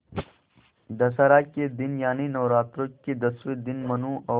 दशहरा के दिन यानि नौरात्रों के दसवें दिन मनु और